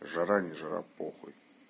жара не жара похуй